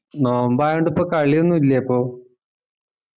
നോമ്പായോണ്ട് ഇപ്പൊ കളിയാണ് ഇല്ലേ അപ്പൊ